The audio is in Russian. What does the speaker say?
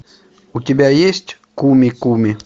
у тебя есть куми куми